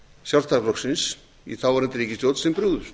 sjálfstæðisflokksins í þáverandi ríkisstjórn sem brugðust